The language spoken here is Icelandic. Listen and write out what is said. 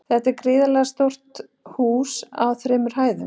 Þetta var gríðarstórt hús á þremur hæðum.